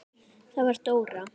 Það var Dóra.